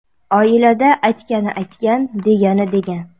Oilada aytgani aytgan, degani degan.